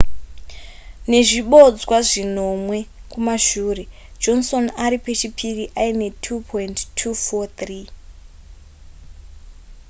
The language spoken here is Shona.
nezvibodzwa zvinomwe kumashure johnson ari pechipiri aine 2,243